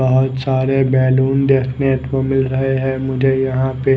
बहुतसारे balloons देखने को मिल रहे है मुझे यहाँ पे।